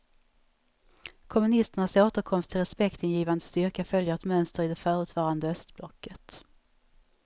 Kommunisternas återkomst till respektingivande styrka följer ett mönster i det förutvarande östblocket.